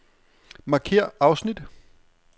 Markér afsnit.